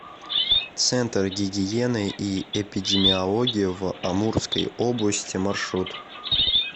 центр гигиены и эпидемиологии в амурской области маршрут